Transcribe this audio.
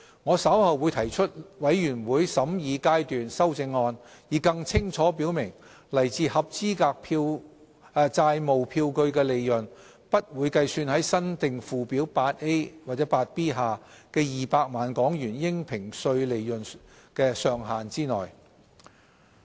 我稍後會提出全體委員會審議階段修正案，以更清楚表明來自合資格債務票據的利潤不會計算在新訂附表 8A 或 8B 下的200萬港元應評稅利潤"上限"之內。